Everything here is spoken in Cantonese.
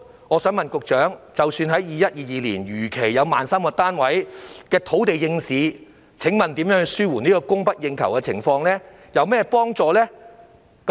我想問局長，即使 2021-2022 年度如期有可供興建 13,000 個單位的土地應市，這對紓緩供不應求的情況有何幫助？